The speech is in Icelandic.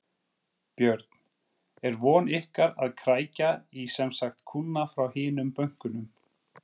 Björn: Er von ykkar að krækja í semsagt kúnna frá hinum bönkunum?